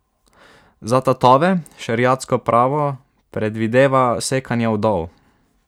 Za tatove šeriatsko pravo predvideva sekanje udov.